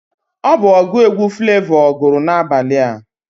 Ọ bụ ọgụ egwu Flavọ gụrụ N'abalị a